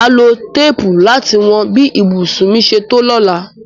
Màá lo téèpù láti wọn bí ibùsùn mi ṣe tó lóla.